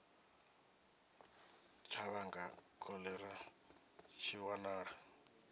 tsha vhanga kholera tshi wanala